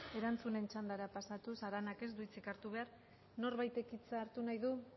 erantzunen txandara pasatuz aranak ez du hitzik hartu behar norbaitek hitza hartu nahi du